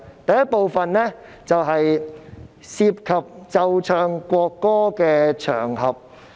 第一部分涉及奏唱國歌的場合。